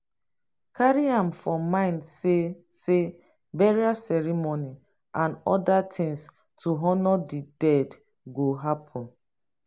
carry am for mind sey sey burial ceremony and oda things to honour di dead go happen